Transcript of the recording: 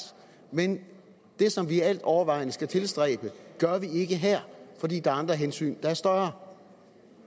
men det som vi altovervejende skal tilstræbe gør vi ikke her fordi der er andre hensyn der er større